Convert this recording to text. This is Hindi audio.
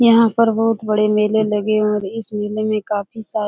यहाँ पर बहुत बड़े मेले लगे हुए हैं । इस मेले में काफी सारी --